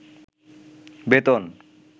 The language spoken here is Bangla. বেতন